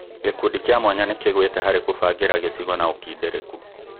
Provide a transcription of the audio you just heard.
Gĩkundi kĩa mwanya nĩkĩgũĩte harĩ kũbangĩra gĩcigo na ũkindĩrĩku